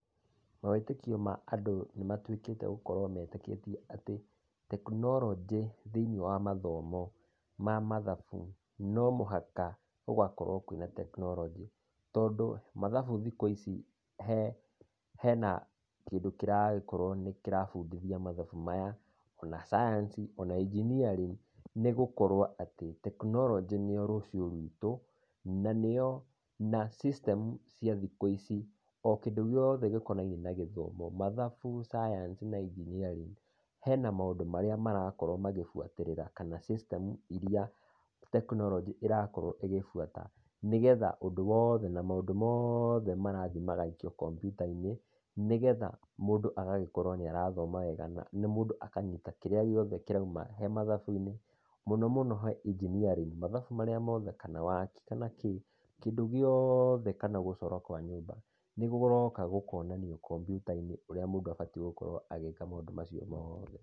Mawĩtĩkio ma andũ nĩ matuĩkĩte gũkorwo metĩkĩtie atĩ, tekinoronjĩ thĩiniĩ wa mathomo ma mathabũ, no mũhaka gũgakorwo na tekinoronjĩ. Tondũ mathabu thikũ ici hena kĩndũ kĩrakorwo nĩ kĩrabundithia mathabu maya, ona science, ona engineering, nĩ gũkorwo atĩ tekinorojĩ nĩyo rũciũ ruitũ na nĩyo, system ya kĩndũ gĩothe kĩhutanĩtie na mathomo, mathabu, scince na engeneering na maũndũ marĩa marakorwo magĩbuatĩrĩra, kana system iria tekinoronjĩ ĩrabuata nĩgetha ũndũ wothe, na maũndũ mothe marathiĩ magaikio kampyuta-inĩ nĩgetha mũndũ akorwo nĩ arathoma wega na mũndũ akanyita kĩndũ giothe kĩrĩa kĩrauma mathabu-inĩ. Mũno mũno engeneering kana waki, kana kĩndũ gĩothe. Ta waki wa nyũmba, nĩ ũroka ũkonio mbica-inĩ ũrĩa mũndũ agĩrĩire gũkorwo agĩka maũndũ macio mothe.